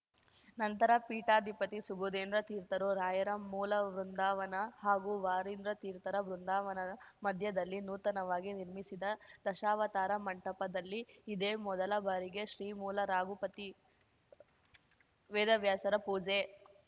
ನಂತರ ಪೀಠಾಧಿಪತಿ ಸುಬುಧೇಂದ್ರ ತೀರ್ಥರು ರಾಯರ ಮೂಲವೃಂದಾವನ ಹಾಗೂ ವಾದೀಂದ್ರತೀರ್ಥರ ಬೃಂದಾವನದ ಮದ್ಯದಲ್ಲಿ ನೂತನವಾಗಿ ನಿರ್ಮಿಸಿದ ದಶಾವತಾರ ಮಂಟಪ ದಲ್ಲಿ ಇದೇ ಮೊದಲ ಬಾರಿಗೆ ಶ್ರೀಮೂಲ ರಾಘುಪತಿ ವೇದವಾಸ್ಯರ ಪೂಜೆ